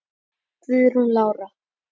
Guðrún Lára.